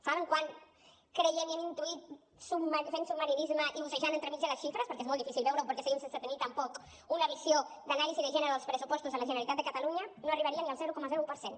saben quant creiem i hem intuït fent submarinisme i bussejant entremig de les xifres perquè és molt difícil veure ho perquè seguim sense tenir tampoc una visió d’anàlisi de gènere dels pressupostos de la generalitat de catalunya no arribaria ni al zero coma un per cent